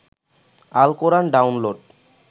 Al Quran download